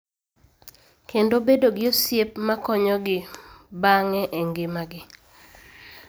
Kendo bedo gi osiep ma konyogi bang�e e ngimagi.